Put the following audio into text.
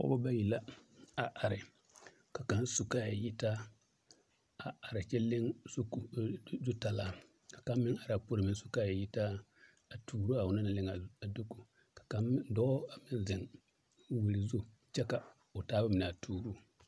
Pɔgbɔ bayi la a are ka kaŋ su kaaya yitaa a are kyɛ leŋ zutalaa ka kaŋ meŋ araa puoreŋ a su kaaya yitaa a tuuraa onoŋ naŋ leŋaa dooku kaŋ meŋ dɔɔ a meŋ zeŋ wiri zu kyɛ ka o taaba mine a tuuruu.